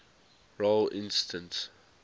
role instance